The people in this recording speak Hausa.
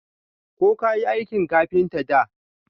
Ko kayi aikin kafinta da?